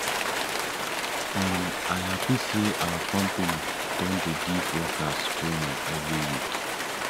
um i hapi sey our company don dey give workers training every week